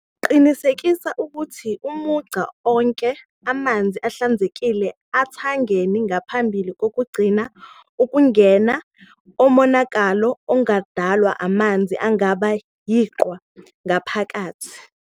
Qinisekisa ukuthi umunca onke amanzi ahlanzekile ethangeni ngaphambi kokugcina ukugwema umonakalo ongadalwa amanzi angaba yiqwa ngaphakathi.